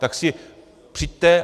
Tak si přijďte...